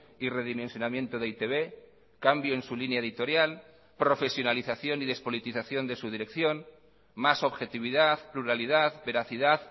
y redimensionamiento de e i te be cambio en su línea editorial profesionalización y despolitización de su dirección más objetividad pluralidad veracidad